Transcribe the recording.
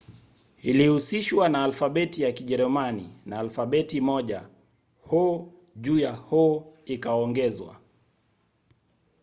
ilihusishwa na alfabeti ya kijerumani na alfabeti moja õ/õ ikaongezwa